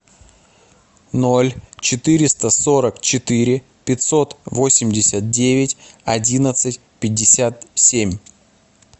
ноль четыреста сорок четыре пятьсот восемьдесят девять одиннадцать пятьдесят семь